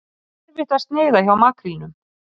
Því hefur svengd áhrif á vinnslugetu heilans.